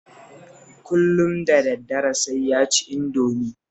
Kullum da daddare sai ya ci Indomi